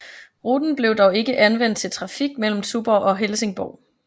Ruten blev dog ikke anvendt til trafik mellem Tuborg og Helsingborg